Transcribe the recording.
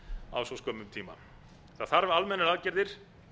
á svo skömmum tíma það þarf almennar aðgerðir